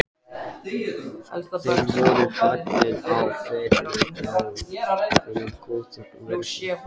Það voru fáir á ferli þrátt fyrir góða veðrið.